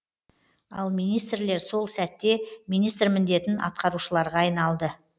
ал министрлер сол сәтте министр міндетін атқарушыларға айналды